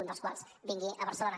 un dels quals vingui a barcelona